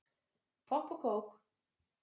Popp og kók